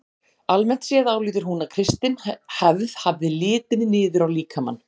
Almennt séð álítur hún að kristin hefð hafi litið niður á líkamann.